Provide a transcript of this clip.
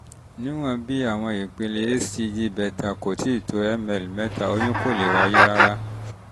níwọ̀n bí àwọn ìpele hcg beta kò ti tó miu/ml mẹ́ta oyún kò lè wáyé rárá